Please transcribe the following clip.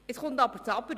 Nun folgt ein Aber: